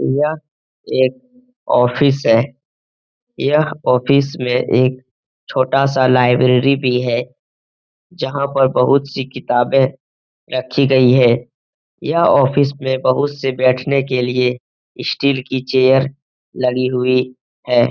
यह एक ऑफिस है। यह ऑफिस में एक छोटा सा लाइब्रेरी भी है। जहां पर बहुत सी किताबें रखी गयी है। यह ऑफिस में बहुत से बैठने के लिए स्टील की चेयर लगी हुई है।